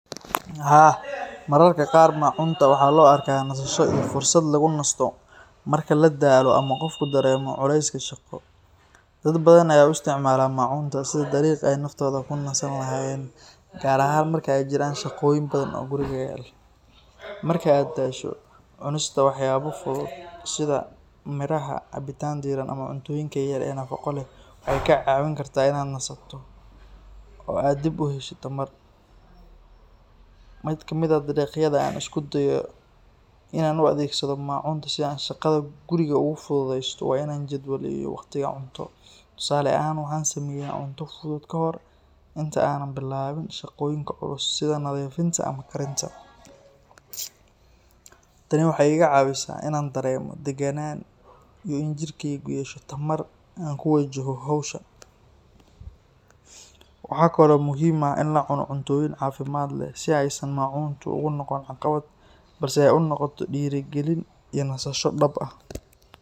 Haa, mararka qaar maacunta waxaa loo arkaa nasasho, fursad lagu nasto marka ladaalo ama qofka uu dareemo culeeska shaqo, dad badan ayaa u isticmaala maacunta sida dariiq aay naftooda ku nasin lahaayen, gaar ahaan markeey jiraan shaqa badan oo guriga yalo, marka aad daasho cunista wax yaabo fudud sida miraha, cabitaan diiran, ama cuntooyinka yar, waxeey kaa caawin kartaa inaad nasato oo aad dib uheshid tamar, mid kamid ah dariiqyada aan u isticmaalo maacunta si aan shaqada guriga oogu fududeesto waa inaan jadwal iyo waqti cuno, tusaale ahaan waxaan sameeya cunto fudud kahor inta aan bilaabin shaqoyinka culus sida nadiifinta ama karinta, tani waxeey iga caawisa inaan dareemo daganaan iyo jirkeyga yeesho tamar aan kuwajaho howsha, waxaa kale oo muhiim ah in lacuno cuntoyiin cafimaad leh si aay maacunta ugu noqonin caqabad aay unoqoto diiri galin iyo nasasho dab ah.